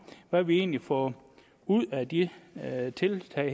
hvad vi egentlig får ud af de her tiltag